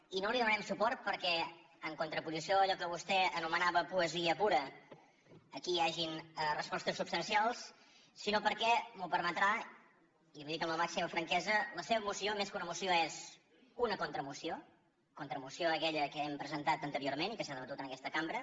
i no hi donarem suport perquè en contraposició a allò que vostè anomenava poesia pura aquí hi hagi respostes substancials sinó perquè m’ho permetrà i li ho dic amb la màxima franquesa la seva moció més que una moció és una contramoció contramoció a aquella que hem presentat anteriorment i que s’ha debatut en aquesta cambra